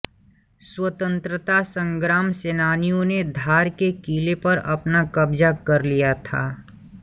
स्वतंत्रता संग्राम सेनानियों ने धार के किले पर अपना कब्जा कर लिया था